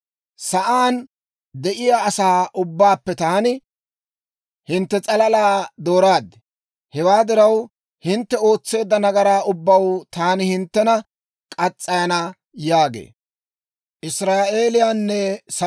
«Sa'aan de'iyaa asaa ubbaappe taani hintte s'alalaa dooraad. Hewaa diraw, hintte ootseedda nagaraa ubbaw taani hinttena murana» yaagee.